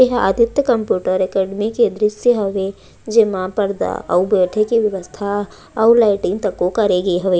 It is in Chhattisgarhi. एहा आदित्य कंप्यूटर अकादमी के दृस्य हवे जेमा पर्दा अउ बैठे के व्यवस्था अउ लैटरिंग तको करे के हवे।